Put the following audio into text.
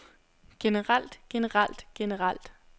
generelt generelt generelt